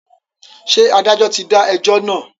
Ṣé adájọ́ ti dá ẹjọ́ náà?